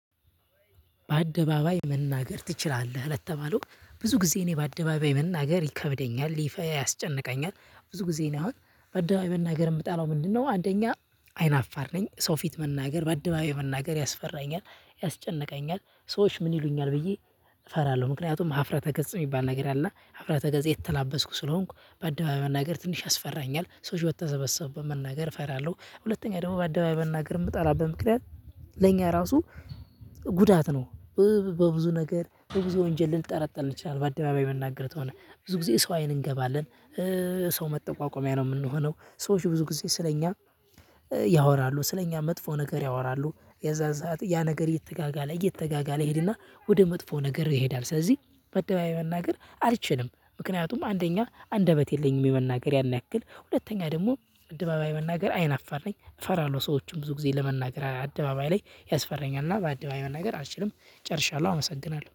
በአደባባይ መናገር ትችላለህ ለተባለው ብዙ ጊዜ እኔ በአደባባይ መናገር ይከብደኛል ይፈ ያስጨንቀኛል ብዙ ጊዜ እኔ አሁን በአደባባይ መናገር የምጠላው ምንድነው? አንደኛ አይናፋር ነኝ። ሰው ፊት መናገር በአደባባይ መናገር ያስፈራኛል። ያስጨነቀኛል ሰዎች ምን ይሉኛል ብዬ እፈራለሁ። ምክንያቱም ሀፍረተ ገጽ የሚባል ነገር አለ። እና ሀፍተዘ የተላበስኩ ስለሆንኩ በአደባባይ መናገር ትንሽ ያስፈራኛል ሰዎች በተሰበሰቡበት መናገር እፈራለሁ። ሁለተኛ ደግሞ በአደባይ መናገር የምጠላበት ምክንያት ለእኛ ራሱ ጉዳት ነው። በብዙ ነገር በብዙ ወንጀል ልንጠረጠር እንችላለን። በአደባባይ መናገር ተሆነ ብዙ ጊዜ ሰው አይን እንገባለን። ሰው መጠቋቆሚያ ነው የምንሆነው። ሰዎች ብዙ ጊዜ ስለኛ ያወራሉ ስለኛ መጥፎ ነገር ያወራሉ። የዛን ሰዓት ያ ነገር እየተጋጋለ እየተጋጋለ ይሄድና ወደ መጥፎ ነገር ይሄዳል። ስለዚህ ባደባባይ መናገር አልችልም ምክንያቱም አንደኛ አንደበት የለኝም። የመናገር ያን ያክል ሁለተኛ ደግሞ አደባባይ መናገር አይናፋር ነኝ እፈራለሁ። ሰዎችን ብዙ ጊዜ ለመናገር አደባባይ ላይ ያስፈራኛል። እና በአደባባይ መናገር አልችልም ጨርሻለሁ አመሰግናለሁ